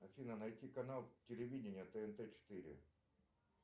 афина найти канал телевидения тнт четыре